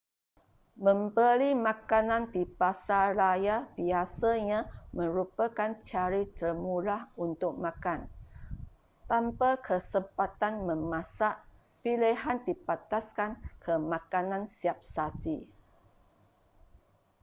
membeli makanan di pasaraya biasanya merupakan cara termurah untuk makan tanpa kesempatan memasak pilihan dibataskan ke makanan siap saji